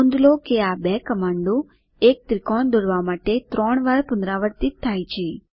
નોંધ લો કે આ બે કમાન્ડો એક ત્રિકોણ દોરવા માટે ત્રણ વાર પુનરાવર્તિત થાય છે